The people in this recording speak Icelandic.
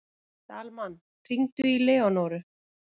Dalmann, hringdu í Leónóru.